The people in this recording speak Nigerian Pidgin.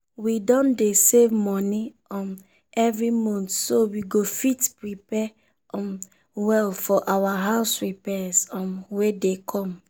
we don dey save money um every month so we go fit prepare um well for our house repairs um wey dey come.